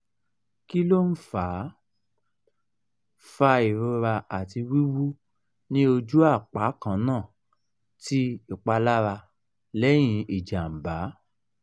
kí ló ń fa fa ìrora àti wuwu ní oju apa kannà tí ipalará lẹ́yìn ijàǹbá?